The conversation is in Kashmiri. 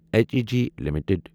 H E G limited